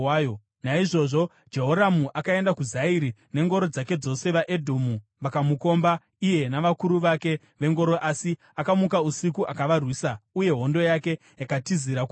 Naizvozvo Jehoramu akaenda kuZairi nengoro dzake dzose. VaEdhomu vakamukomba iye navakuru vake vengoro, asi akamuka usiku akavarwisa; uye hondo yake yakatizira kumusha.